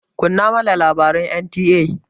Kunna mana labaran NTA!